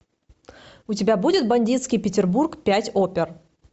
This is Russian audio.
у тебя будет бандитский петербург пять опер